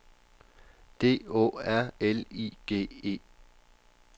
D Å R L I G E